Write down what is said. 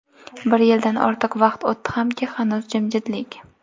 Bir yildan ortiq vaqt o‘tdi hamki, hanuz jimjitlik.